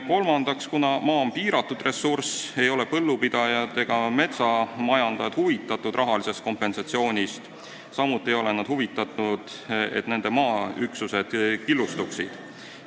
Kolmandaks, kuna maa on piiratud ressurss, ei ole põllupidajad ega metsamajandajad huvitatud rahalisest kompensatsioonist, samuti ei ole nad huvitatud, et nende maaüksused killustuksid.